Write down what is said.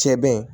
Cɛ bɛ yen